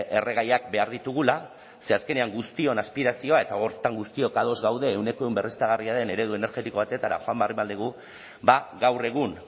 erregaiak behar ditugula ze azkenean guztion aspirazioa eta horretan guztiok ados gaude ehuneko ehun berriztagarria den eredu energetiko batetara joan behar dugu ba gaur egun